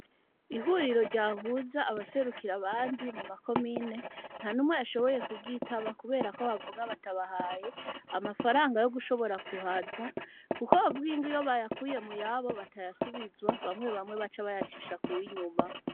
Ihuriro, ryahuza abaserukira abandi, mu ma komine, nta n'umwe, yashoboye kuryitaba; kubera ko, bavuga, batabahaye, amafaranga, yo gushobora kuhaza; kuko bavuga ngo, iyo bayakuye mu yabo, batayasubizwa; bamwe bamwe, baca bayacisha, kuw'inyuma.